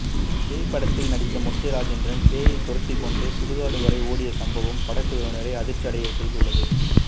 பேய் படத்தில் நடித்த மொட்டை ராஜேந்திரன் பேயை துரத்திக்கொண்டு சுடுகாடு வரை ஓடிய சம்பவம் படக்குழுவினரை அதிர்ச்சி அடைய செய்துள்ளது